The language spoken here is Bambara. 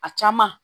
A caman